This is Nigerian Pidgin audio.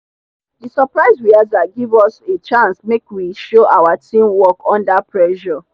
the surprise rehearsal give us a chance make we show our teamwork under pressure.